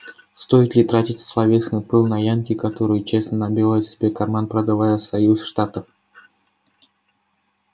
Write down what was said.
стоит ли тратить словесный пыл на янки которые честно набивают себе карман продавая союз штатов